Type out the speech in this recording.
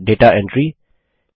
set दाता entry